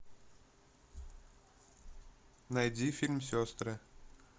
найди фильм сестры